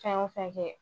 Fɛn o fɛn kɛ